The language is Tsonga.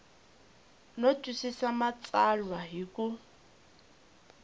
no twisisa matsalwa hi ku